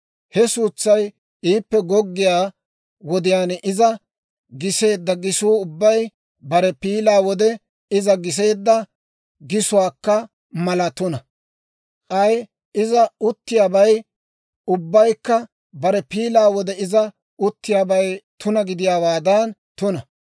He suutsay iippe goggiyaa wodiyaan iza giseedda gisuu ubbay, bare piilaa wode iza giseedda gisuwaakka mala tuna; k'ay iza uttiyaabay ubbaykka bare piilaa wode iza uttiyaabay tuna gidiyaawaadan tuna.